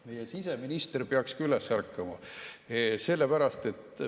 Meie siseminister peaks ka üles ärkama.